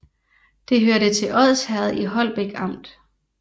Det hørte til Odsherred i Holbæk Amt